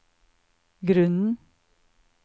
grunnen